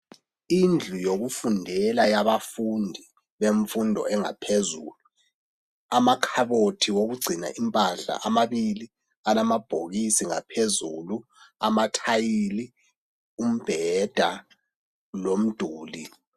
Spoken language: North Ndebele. Indlu yokufundela yabafundi bemfundo yangaphezulu. Amakhabothi okugcina impahla amabili, alamabhokisi ngaphezulu,, amathayili, umbheda lomduli.